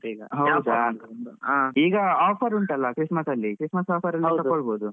ಈಗ offer ಉಂಟಲ್ಲಾ Christmas ಅಲ್ಲಿ Christmas offer ಅಲ್ಲಿ ತಗೋಬಹುದು.